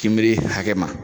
K'ibiri hakɛ ma